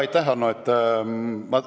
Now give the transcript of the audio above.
Aitäh, Hanno!